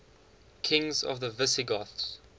kings of the visigoths